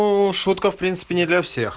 уу шутка в принципе не для всех